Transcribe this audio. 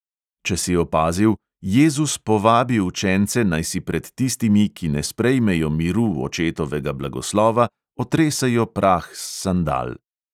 Če si opazil, jezus povabi učence, naj si pred tistimi, ki ne sprejmejo miru očetovega blagoslova, otresejo prah s sandal.